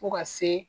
Fo ka se